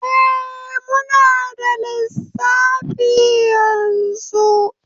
Eh, muna da lissafi yanzu